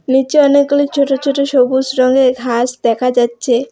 নিচে অনেকগুলি ছোট ছোট সবুজ রঙের ঘাস দেখা যাচ্ছে।